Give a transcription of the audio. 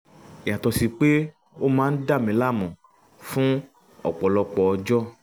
yàtọ̀ sí pé ó máa ń dàmi láàmú fún ọ̀pọ̀lọpọ̀ ọjọ́